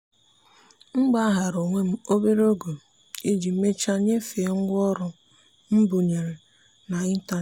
m gbaghara onwe m obere oge iji mechaa nyefee ngwa ọrụ mbubreyo n'ịntanetị.